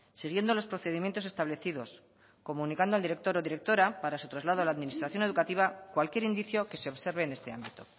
siguiendo los procedimientos establecidos comunicando al director o directora para su traslado a la administración educativa cualquier indicio que se observe en este ámbito